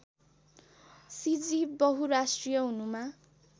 सिजी बहुराष्ट्रिय हुनुमा